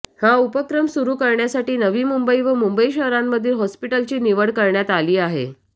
हा उपक्रम सुरू करण्यासाठी नवी मुंबई व मुंबई शहरांमधील हॉस्पिटल्सची निवड करण्यात आली आहे